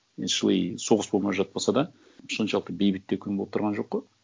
мен шыли соғыс болмай жатпаса да соншалықты бейбіт те күн болып тұрған жоқ қой